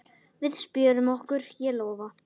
Við spjörum okkur, ég lofa.